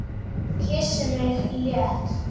Kyssir mig létt.